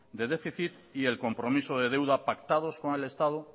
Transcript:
de déficit y el compromiso de deuda pactado con el estado